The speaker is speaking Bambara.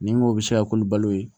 Ni n ko bɛ se ka komi balo ye